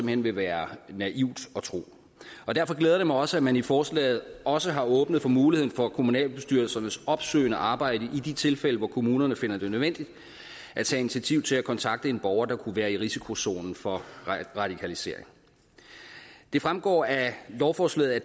hen vil være naivt at tro derfor glæder det mig også at man i forslaget også har åbnet for muligheden for kommunalbestyrelsernes opsøgende arbejde i de tilfælde hvor kommunerne finder det nødvendigt at tage initiativ til at kontakte en borger der kunne være i risikozonen for radikalisering det fremgår af lovforslaget at